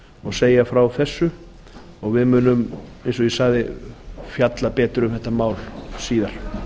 og segja frá því að við munum eins og ég sagði fjalla betur um þetta mál síðar